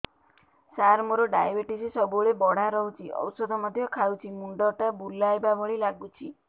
ସାର ମୋର ଡାଏବେଟିସ ସବୁବେଳ ବଢ଼ା ରହୁଛି ଔଷଧ ମଧ୍ୟ ଖାଉଛି ମୁଣ୍ଡ ଟା ବୁଲାଇବା ଭଳି ଲାଗୁଛି